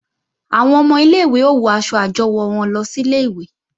Àwọn ọmọ ilé-ìwé ó wọ aṣọ àjọwò wọn lọ sílé ìwé